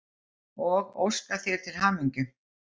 og óska þér til hamingju.